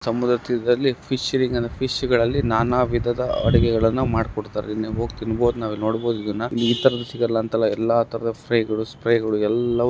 ಸಮುದ್ರ ತೀರದಲ್ಲಿ ಫಿಶ್ ಹಿಡಿತರೆ. ಫಿಶ್ಗಳಲ್ಲಿ ನಾನಾ ವಿಧದ ಅಡುಗೆಗಳನ್ನ ಮಾಡಿ ಕೊಡ್ತಾರೆ. ಇಲ್ಲಿ ಹೋಗಿ ತಿನ್ನಬಹುದು ನಾವು ನೋಡಬಹುದು. ಇದನ್ನ ಈ ತರಹದ ಸಿಗಲ್ಲಂತಲ್ಲ ಎಲ್ಲ ತರಹದ ಫ್ರೆ ಗಳು ಸ್ಪ್ರೇ ಗಳು ಎಲ್ಲ--